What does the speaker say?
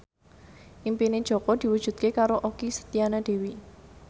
impine Jaka diwujudke karo Okky Setiana Dewi